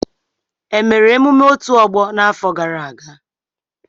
E mere emume otù ọgbọ n'afọ gara aga.